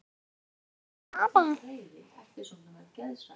hváði Svenni.